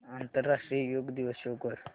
आंतरराष्ट्रीय योग दिवस शो कर